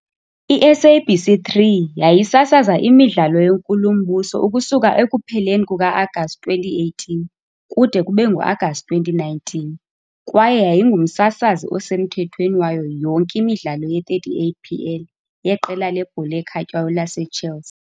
I-SABC3 yayisasaza imidlalo yeNkulumbuso ukusuka ekupheleni kuka-Agasti 2018 kude kube ngu-Agasti 2019 kwaye yayingumsasazi osemthethweni wayo yonke imidlalo ye-38 PL yeqela lebhola ekhatywayo laseChelsea.